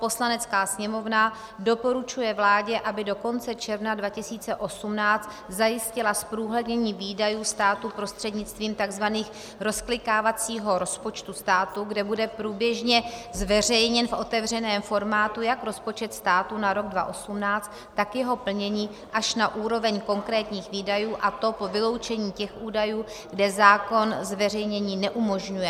Poslanecká sněmovna doporučuje vládě, aby do konce června 2018 zajistila zprůhlednění výdajů státu prostřednictvím tzv. rozklikávacího rozpočtu státu, kde bude průběžně zveřejněn v otevřeném formátu jak rozpočet státu na rok 2018, tak jeho plnění až na úroveň konkrétních výdajů, a to po vyloučení těch údajů, kde zákon zveřejnění neumožňuje.